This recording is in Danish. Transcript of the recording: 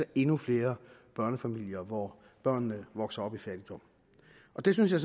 endnu flere børnefamilier hvor børnene vokser op i fattigdom og det synes jeg